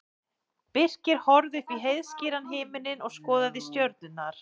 Birkir horfði upp í heiðskíran himininn og skoðaði stjörnurnar.